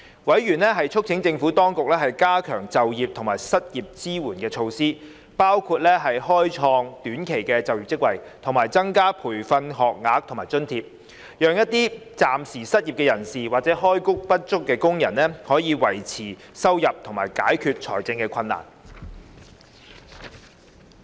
委員促請政府當局加強就業及失業支援措施，包括開創短期就業職位，以及增加培訓學額及津貼，讓一些暫時失業人士或開工不足工人，可以維持收入及解決財政困難。